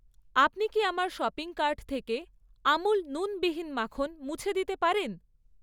আপনি কি আমার শপিং কার্ট থেকে আমুল নুনবিহীন মাখন মুছে দিতে পারেন?